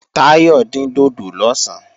Táyọ̀ dín dòdò lọ̀sán